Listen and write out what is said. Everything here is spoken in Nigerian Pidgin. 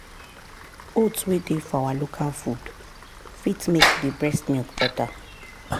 oats wey dey for our local food fit make the breast milk better.